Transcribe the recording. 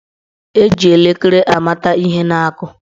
Eji elekere amata ihe na-akụ.